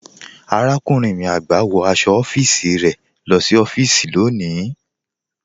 Àràkúnrìn mi àgbá, wọ́ ní ọfisì rẹ sí ọfisì rẹ lọ́ní.